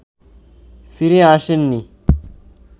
ফিরে আসেননি